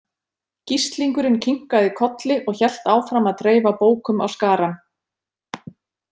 Gíslingurinn kinkaði kolli og hélt áfram að dreifa bókum á skarann.